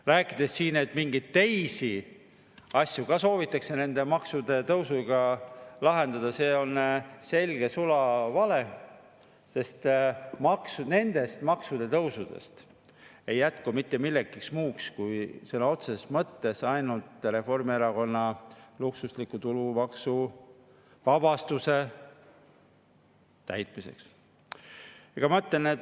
Rääkida siin, et soovitakse mingeid teisi asju ka nende maksutõusudega lahendada, see on sulaselge vale, sest nendest maksutõusudest ei jätku mitte millekski muuks kui sõna otseses mõttes ainult Reformierakonna luksusliku täitmiseks.